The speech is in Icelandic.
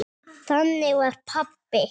Þannig var pabbi.